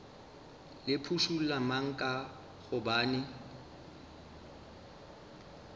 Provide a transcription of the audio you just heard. le phušula mang ka gobane